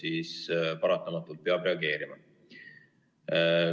No siis paratamatult peab reageerima.